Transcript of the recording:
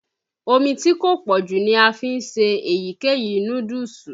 Omí tí kò pọ́jù ni a fi ń se èyíkéyìí núdúùsù.